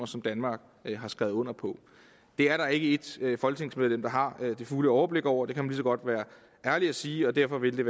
som danmark har skrevet under på det er der ikke ét folketingsmedlem der har det fulde overblik over det kan man lige så godt være ærlig at sige og derfor vil det